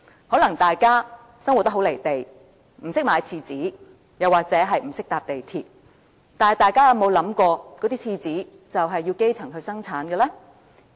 可能大家生活得很"離地"，不懂得買廁紙或不懂得乘搭港鐵，但大家有否想過，廁紙是由基層生產的呢？